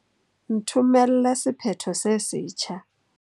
Nthomelle sephetho se setjha.